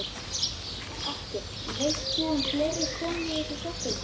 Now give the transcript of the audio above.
Gunnar Atli: Veist þú um fleiri konur í þessum sporum?